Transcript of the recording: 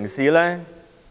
代理